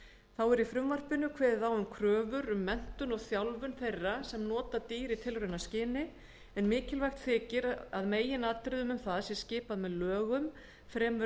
þá er í frumvarpinu kveðið á um kröfur um menntun og þjálfun þeirra sem nota dýr í tilraunaskyni en mikilvægt þykir að meginatriðinu um það sé skipað með lögum fremur